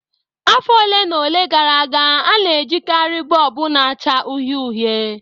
Afọ ole na ole gara aga, a na-ejikarị bọlbụ na-acha uhie uhie